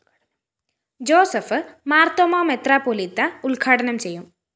Joseph Marthoma മെത്രാപ്പെ!ാലീത്ത ഉദ്ഘാടനം ചെയ്യും